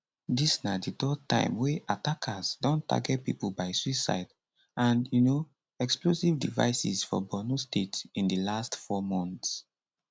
dis na di third time wey attackers don target pipo by suicide and um explosive devices for borno state in di last four months